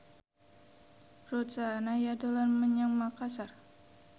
Ruth Sahanaya dolan menyang Makasar